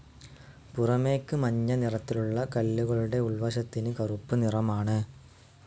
പുറമേയ്ക്ക് മഞ്ഞ നിറത്തിലുള്ള കല്ലുകളുടെ ഉൾവശത്തിന് കറുപ്പ് നിറമാണ്.